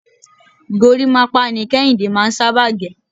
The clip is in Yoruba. gorímápá ni Kéhìndé máà ń sábà gẹ̀..